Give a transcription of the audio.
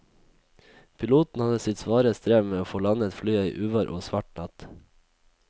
Piloten hadde sitt svare strev med å få landet flyet i uvær og svart natt.